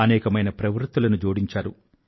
అనేకమైన ప్రవృత్తులను జోడించారు